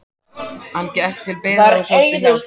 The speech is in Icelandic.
Hann gekk til byggða og sótti hjálp.